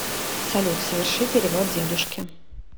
салют соверши перевод дедушке